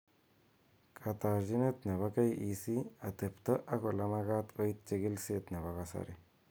Katarchinet nebo KEC ,atebto ak olemakat koit chekilishet nebo kasari